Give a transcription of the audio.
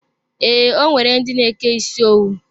Ee, o nwere ndi n'eke isi owu.